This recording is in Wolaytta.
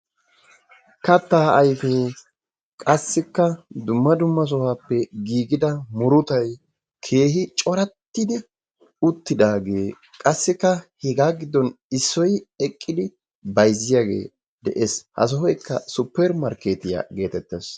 kattaa ayifee qassikka dumma dumma sohuwaappe giigida murutayi keehi corattidi uttidaagee qassikka hegaa giddon issoy eqqidi bayizziyaagee de'ees. Ha sohoykka supper markkeetiyaa geetettees.